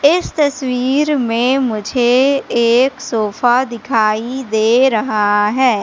इस तस्वीर में मुझे एक सोफा दिखाई दे रहा है।